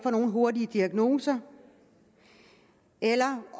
nogle hurtige diagnoser eller